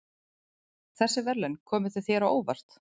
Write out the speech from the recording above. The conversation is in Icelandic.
Þessi verðlaun komu þau þér á óvart?